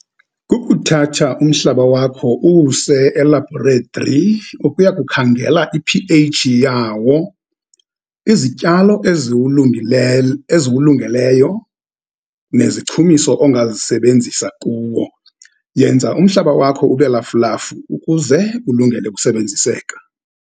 Kukuthatha umhlaba wakho, uwuse elabhoretri, ukuya kukhangela i-P_H yawo, izityalo eziwulungeleyo, nezichumiso ongazisebenzisa kuwo. Yenza umhlaba wakho ube lafulafu ukuze ulungele ukusebenziseka.